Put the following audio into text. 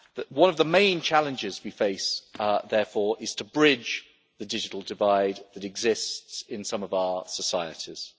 One of the main challenges we face, therefore, is to bridge the digital divide that exists in some of our societies.